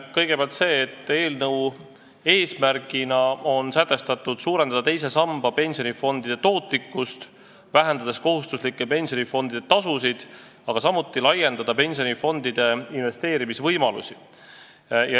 Kõigepealt, eelnõu eesmärgina on sätestatud suurendada teise samba pensionifondide tootlikkust, vähendades kohustuslike pensionifondide tasusid, aga samuti laiendada pensionifondide investeerimisvõimalusi.